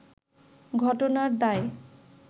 ঘটনার দায়